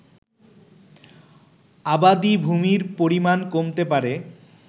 আবাদি ভুমির পরিমাণ কমতে পারে